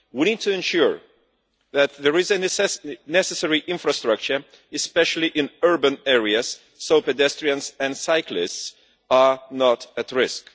We need to ensure that there is the necessary infrastructure, especially in urban areas, so that pedestrians and cyclists are not at risk.